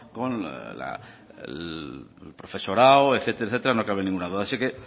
con el profesorado etcétera etcétera no cabe ninguna duda